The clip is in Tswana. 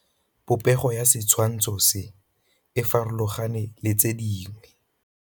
Popêgo ya setshwantshô se, e farologane le tse dingwe.